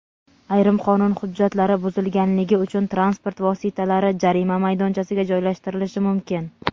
Ayrim qonun hujjatlari buzilganligi uchun transport vositalari jarima maydonchasiga joylashtirilishi mumkin.